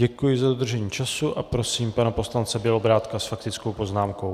Děkuji za dodržení času a prosím pana poslance Bělobrádka s faktickou poznámkou.